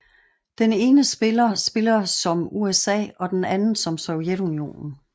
Den ene spiller spiller som USA og den anden som Sovjetunionen